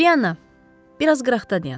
Polyanna, biraz qıraqda dayan.